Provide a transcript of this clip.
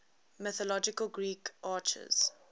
mythological greek archers